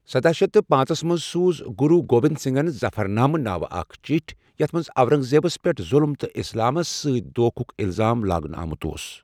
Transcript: سَداہ شیتھ تہٕ پانٛژَس منٛز سوٗز گروٗ گوبند سنگھن ظفرنامہ ناوٕ اکھ چِٹھۍ یتھ منٛز اورنگ زیبس پٮ۪ٹھ ظلم تہٕ اسلامس سۭتۍ دونٛکھک الزام لاگنہٕ آمُت اوس ۔